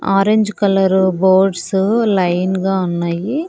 Orange colour boats line గా ఉన్నాయి.